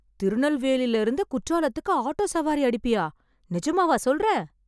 திருநெல்வேலில இருந்து குற்றாலத்துக்கு ஆட்டோ சவாரி அடிப்பயா, நிஜமாவா சொல்ற?